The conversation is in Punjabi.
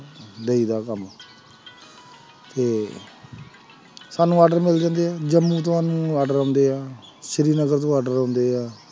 ਦਈਦਾ ਕੰਮ ਤੇ ਸਾਨੂੰ order ਮਿਲ ਜਾਂਦੇ ਹੈ order ਆਉਂਦੇ ਹੈ ਸ੍ਰੀ ਨਗਰ ਤੋਂ order ਆਉਂਦੇ ਹੈ,